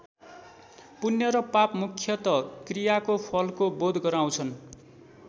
पुण्य र पाप मुख्यत क्रियाको फलको बोध गराउँछन्।